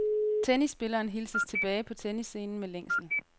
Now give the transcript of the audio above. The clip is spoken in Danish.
Tennisspilleren hilses tilbage på tennisscenen med længsel.